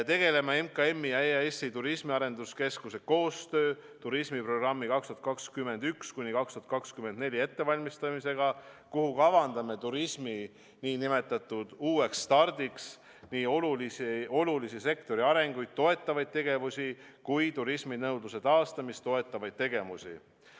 Tegeleme MKM-i ja EAS-i turismiarenduskeskuse koostöös turismiprogrammi 2021–2024 ettevalmistamisega, kuhu kavandame turismi nn uueks stardiks nii olulisi sektori arenguid toetavaid tegevusi kui ka turisminõudluse taastamist toetavaid tegevusi.